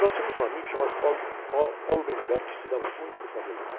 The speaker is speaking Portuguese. Nós tínhamos um amigo chamado, que se dava muito com o.